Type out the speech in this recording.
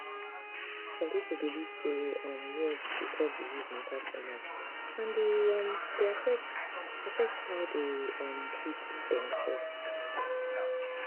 some people belief say um news dey talk disease matter too much and e um dey affect affect how dem um treat demself